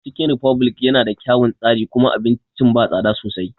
Cikin refublik ya na da kyaun tsari kuma abincin ba tsada sosai